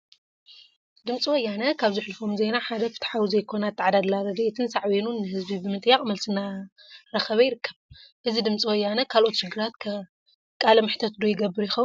ድምፂ ወያነ ካብ ዘሕልፎም ዜና ሓደ ፍትሓዊ ዘይኮነ አተዓዳድላ ረድኤትን ሳዕቤኑን ንህዝቢ ብምጥያቅ መልሲ እናረከበ ይርከብ፡፡ እዚ ድምፂ ወያነ ካልኦት ሽግራት ከ ቃለ መሕተት ዶ ይገብር ይኸውን?